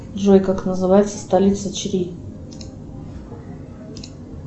джой как называется столица чри